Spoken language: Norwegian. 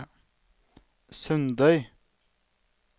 Sundøy